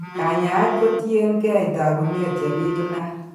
kanyaayet kotien keey taakunet chebitunat.